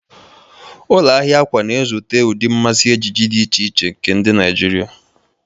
Ụlọ ahịa akwa na-ezute ụdị mmasị ejiji dị iche iche nke ndị Naijiria.